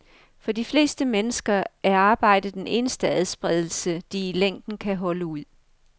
For de fleste mennesker er arbejde den eneste adspredelse, de i længden kan holde ud.